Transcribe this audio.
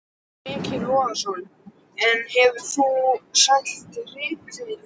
Breki Logason: En hefur þú selt rítalín?